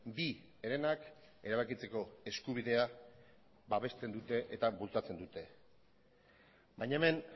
bi herenak erabakitzeko eskubidea babesten dute eta bultzatzen dute baina hemen